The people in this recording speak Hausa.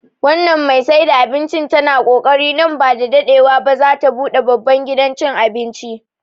Wannan mai saida abincin tana kokari, nan ba da daɗewa ba za ta buɗe babban gidan cin abinci